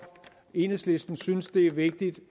enhedslisten synes det er vigtigt